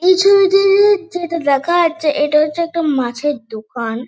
এই ছবিতে যেটা যেটা দেখা যাচ্ছে এটা হচ্ছে একটা মাছের দোকান।